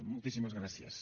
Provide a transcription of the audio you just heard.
moltíssimes gràcies